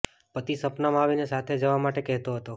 પતિ સપનામાં આવીને સાથે જવા માટે કહેતો હતો